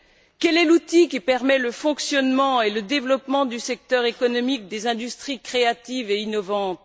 Quel est l'outil qui permet le fonctionnement et le développement du secteur économique des industries créatives et innovantes?